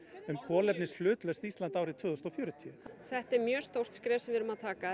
um kolefnishlutlaust Ísland árið tvö þúsund og fjörutíu þetta er mjög stórt skref sem við erum að taka